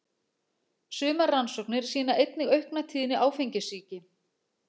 Sumar rannsóknir sýna einnig aukna tíðni áfengissýki.